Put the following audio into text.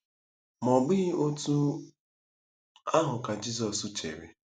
Ma ọ bụghị otú ahụ ka Jizọs chere.